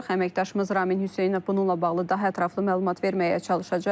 Əməkdaşımız Ramin Hüseynov bununla bağlı daha ətraflı məlumat verməyə çalışacaq.